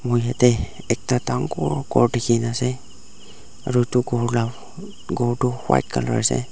moi yatae ekta dangor ghor dikhina ase aru edu ghor la ghor tu white colour ase.